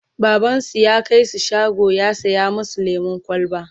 babansu ya kaisu shago ya saya masu lemun kwalba